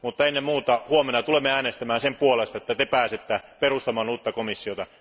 Mutta ennen muuta huomenna tulemme äänestämään sen puolesta, että te pääsette perustamaan uutta komissiota.